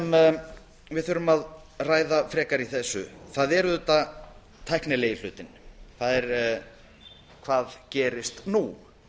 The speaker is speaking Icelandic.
sem við þurfum að ræða frekar í þessu það er auðvitað tæknilegi hlutinn það er hvað gerist nú